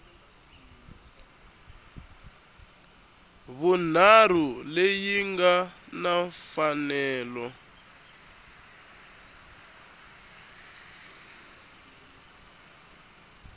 vunharhu leyi nga na mfanelo